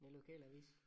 En lokalavis